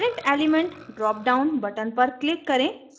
current element current element drop down button पर click करें